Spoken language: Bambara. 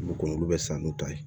Ko olu bɛ san n'u ta ye